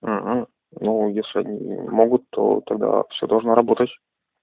угу ну если они могут то тогда все должно работать